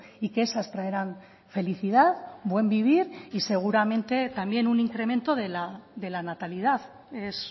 y que esas traerán felicidad buen vivir y seguramente también un incremento de la natalidad es